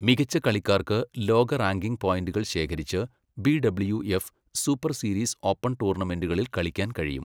മികച്ച കളിക്കാർക്ക് ലോക റാങ്കിംഗ് പോയിന്റുകൾ ശേഖരിച്ച് ബി.ഡബ്ല്യു.എഫ് സൂപ്പർ സീരീസ് ഓപ്പൺ ടൂർണമെൻറ്റുകളിൽ കളിക്കാൻ കഴിയും.